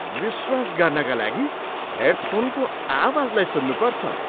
विश्वास गर्नका लागि हेडफोनको आवाजलाई सुन्नुपर्छ।